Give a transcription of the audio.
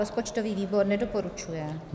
Rozpočtový výbor nedoporučuje.